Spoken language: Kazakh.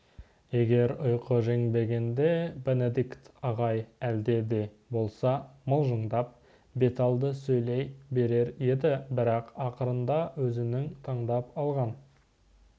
егер ұйқы жеңбегенде бенедикт ағай әлде де болса мылжыңдап беталды сөйлей берер еді бірақ ақырында өзінің таңдап алған